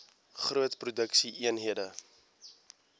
groot produksie eenhede